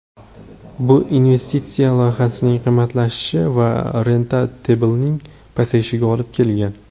Bu investitsiya loyihasining qimmatlashishi va rentabelligi pasayishiga olib kelgan.